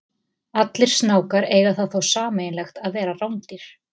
Allir snákar eiga það þó sameiginlegt að vera rándýr.